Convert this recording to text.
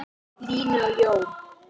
Línu og Jón.